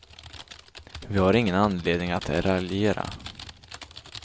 Vi har ingen anledning att raljera.